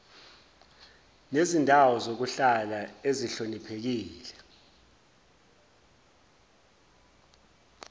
nezindawo zokuhlala ezihloniphekile